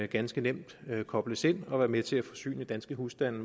ganske nemt kobles ind og være med til at forsyne danske husstande